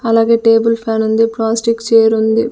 అలాగే టేబుల్ ఫ్యానుంది ప్లాస్టిక్ చేరుంది .